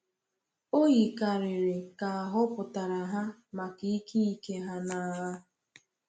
O yikarịrị ka a họpụtara ha maka ike ike ha n’agha.